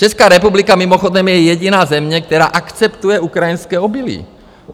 Česká republika mimochodem je jediná země, která akceptuje ukrajinské obilí.